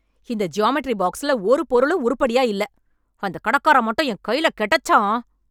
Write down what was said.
இந்த ஜியாம்மெண்ட்ரி பாக்ஸ்ல ஒரு பொருளும் உருப்படியா இல்ல! அந்தக் கடக்காரன் மட்டும் என் கைல கெடச்சான்!